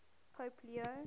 pope leo